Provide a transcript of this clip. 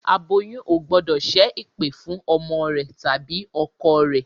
Aboyún ò gbọ́dọ̀ ṣẹ́ ẹ̀pẹ̀ fún ọmọ rẹ tàbí ọkọ rẹ